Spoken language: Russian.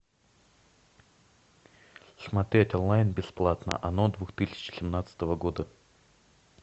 смотреть онлайн бесплатно оно две тысячи семнадцатого года